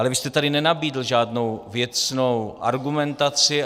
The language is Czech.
Ale vy jste tady nenabídl žádnou věcnou argumentaci.